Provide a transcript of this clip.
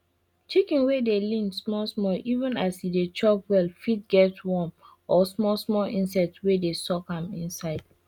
chicken wey dey lean small small even as e dey chop well fit get worm or small small insect wey dey suck am inside